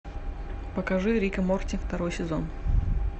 покажи рик и морти второй сезон